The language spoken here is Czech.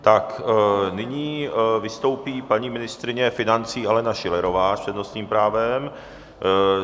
Tak, nyní vystoupí paní ministryně financí Alena Schillerová s přednostním právem.